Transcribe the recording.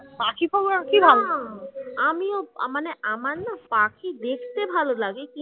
মানে আমার না পাখি দেখতে ভালো লাগে কিন্তু